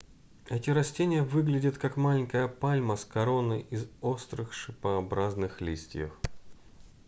эти растения выглядят как маленькая пальма с короной из острых шипообразных листьев